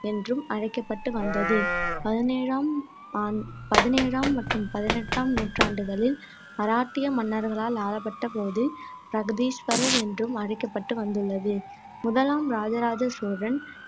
என்றும் அழைக்கப்பட்டு வந்தது பதினேழாம் ஆண்~ பதினேழாம் மற்றும் பதினெட்டாம் நூற்றாண்டுகளில் மராத்திய மன்னர்களால் ஆளப்பட்ட போது பிரகதீஸ்வரர் என்றும் அழைக்கப்பட்டு வந்துள்ளது முதலாம் இராசராச சோழன்